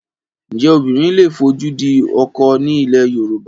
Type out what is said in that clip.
Ǹjẹ́ obìnrin lè fojú di ọkọ ní ilẹ̀ Yorùbá?